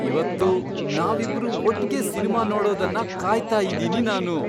ಇವತ್ತು ನಾವಿಬ್ರೂ ಒಟ್ಗೆ ಸಿನ್ಮಾ ನೋಡೋದನ್ನ ಕಾಯ್ತಾ ಇದೀನಿ ನಾನು.